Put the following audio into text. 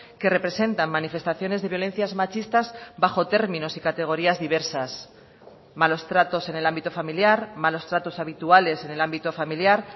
que representan manifestaciones de violencias machistas bajo términos y categorías diversas malos tratos en el ámbito familiar malos tratos habituales en el ámbito familiar